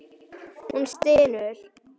Hún stynur.